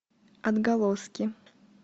отголоски